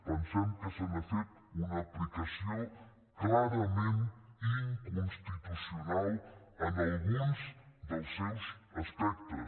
pensem que se n’ha fet una aplicació clarament inconstitucional en alguns dels seus aspectes